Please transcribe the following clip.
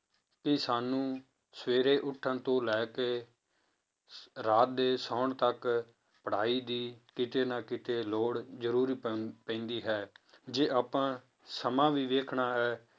ਕਿ ਸਾਨੂੰ ਸਵੇਰੇ ਉੱਠਣ ਤੋਂ ਲੈ ਕੇ ਰਾਤ ਦੇ ਸੌਣ ਤੱਕ ਪੜ੍ਹਾਈ ਦੀ ਕਿਤੇ ਨਾ ਕਿਤੇ ਲੋੜ ਜ਼ਰੂਰ ਪੈਂ~ ਪੈਂਦੀ ਹੈ, ਜੇ ਆਪਾਂ ਸਮਾਂ ਵੀ ਵੇਖਣਾ ਹੈ